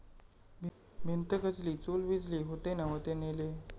भिंत खचली, चूल विझली...होते नव्हते नेले'